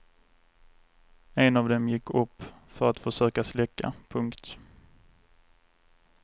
En av dem gick upp för att försöka släcka. punkt